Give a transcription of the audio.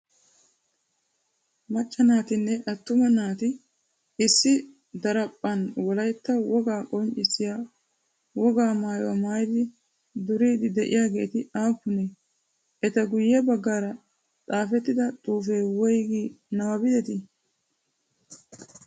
Macca naatinne attuma naati issi daraphphan wolaytta wogaa qonccissiya wogaa maayuwa maayidi duriidi de'iyageeti aappunee? Eta guyye baggaara xaafettida xuufee woygi nabbabbettii?